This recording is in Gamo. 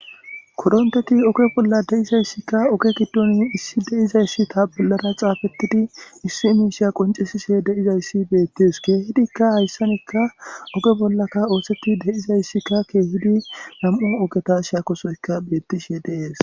kodonteti oke bolla de7izayssikka oge giddoni issi de7izayssi ta bollara caafettidi issi miisheya qoncesise deizayssi beettes keehidikka hayssanekka oge bollaka oosetti de7izayssikka keehudi lam7o ogeta shiakosoyka beettishe deees